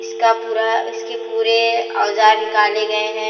इसका पूरा इसके पूरे औजार निकाले गए हैं।